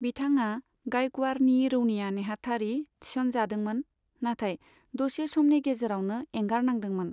बिथाङा गायकवारनि रौनिया नेहाथारि थिस'न जादोंमोन, नाथाय दसे समनि गेजेरावनो एंगारनांदोंमोन।